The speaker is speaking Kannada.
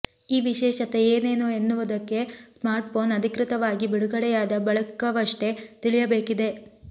ಈ ವಿಶೇಷತೆ ಏನೇನು ಎನ್ನುವುದಕ್ಕೆ ಸ್ಮಾರ್ಟ್ಫೋನ್ ಅಧಿಕೃತವಾಗಿ ಬಿಡುಗಡೆಯಾದ ಬಳಿಕವಷ್ಟೇ ತಿಳಿಯಬೇಕಿದೆ